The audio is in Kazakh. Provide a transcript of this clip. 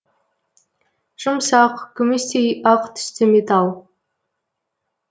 жұмсақ күмістей ақ түсті металл